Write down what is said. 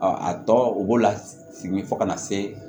a tɔ u b'o la segin fo ka na se